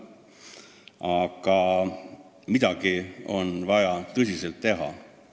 Aga midagi on vaja tõesti teha.